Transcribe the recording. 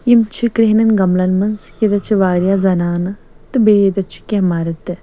.یِمہٕ چھ کرٛہنٮ۪ن گملن منٛزییٚتٮ۪تھ چھ واریاہ زنانہٕ تہٕ بیٚیہِ ییٚتٮ۪تھ چھ کیٚنٛہہ مردتہِ